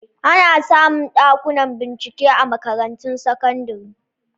Ana samu Ɗakuna bincike a makarantun sakandire